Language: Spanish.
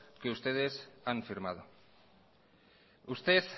que ustedes han firmado usted